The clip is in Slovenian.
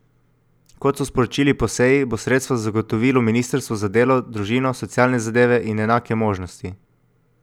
Kot so sporočili po seji, bo sredstva zagotovilo ministrstvo za delo, družino, socialne zadeve in enake možnosti.